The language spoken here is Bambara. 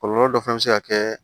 Kɔlɔlɔ dɔ fana bɛ se ka kɛ